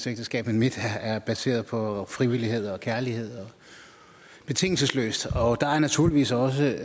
ægteskab men mit er baseret på frivillighed og kærlighed betingelsesløst der er naturligvis også